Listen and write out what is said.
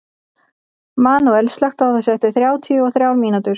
Manuel, slökktu á þessu eftir þrjátíu og þrjár mínútur.